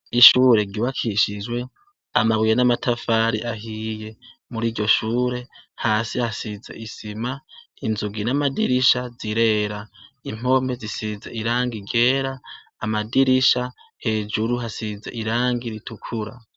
Ishure ryubakishijwe amabuye n'amatafari ahiye, muriryo shure hasi hasize isima inzugi n'amadirisha zirera, impome zisize irangi ryera amadirisha hejuru hasize irangi ritukura.